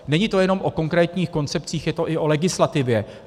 Není to jenom o konkrétních koncepcích, je to i o legislativě.